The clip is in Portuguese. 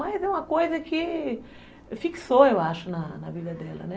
Mas é uma coisa que fixou, eu acho, na na vida dela, né?